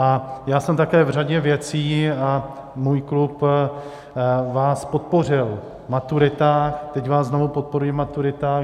A já jsem také v řadě věcí, a můj klub vás podpořil v maturitách, teď vás znovu podporuji v maturitách.